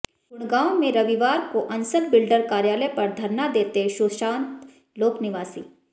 गुडग़ांव में रविवार को अंसल बिल्डर कार्यालय पर धरना देते सुशांत लोक निवासी